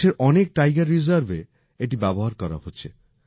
দেশের অনেক টাইগার রিজার্ভে এটি ব্যবহার করা হচ্ছে